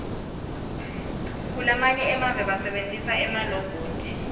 kulamanye emave basebentisa emalobhothi